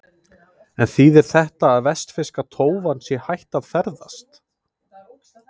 En þýðir þetta að vestfirska tófan sé hætt að ferðast?